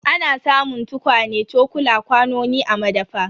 Ana samun tukwane, cokula, kwanoni a madafa.